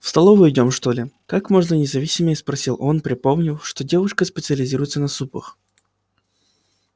в столовую идём что ли как можно независимее спросил он припомнив что девушка специализируется на супах